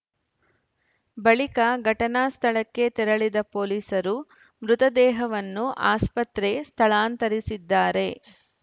ಬಳಿಕ ಘಟನಾ ಸ್ಥಳಕ್ಕೆ ತೆರಳಿದ ಪೊಲೀಸರು ಮೃತದೇಹವನ್ನು ಆಸ್ಪತ್ರೆ ಸ್ಥಳಾಂತರಿಸಿದ್ದಾರೆ